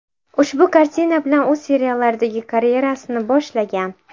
Ushbu kartina bilan u seriallardagi karyerasini boshlagan.